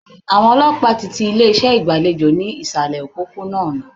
Àwọn ọlọ́pàá ti ti ilé ìgbàlejò ní ìsàlẹ̀ òpópó-ònà.